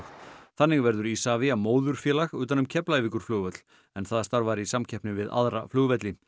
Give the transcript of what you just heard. þannig verður Isavia móðurfélag utan um Keflavíkurflugvöll en það starfar í samkeppni við aðra flugvelli